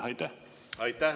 Aitäh!